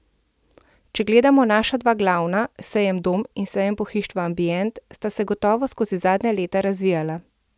Če gledamo naša dva glavna, sejem Dom in sejem pohištva Ambient, sta se gotovo skozi zadnja leta razvijala.